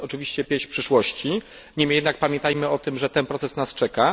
To jest oczywiście pieśń przyszłości, niemniej jednak pamiętajmy o tym, że ten proces nas czeka.